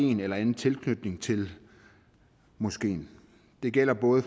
en eller anden tilknytning til moskeen det gælder både